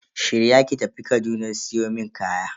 Shirya ki tafi Kaduna siyo mun kaya.